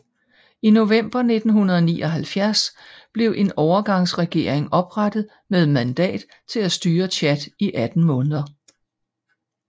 I november 1979 blev en overgangsregering oprettet med mandat til at styre Tchad i 18 måneder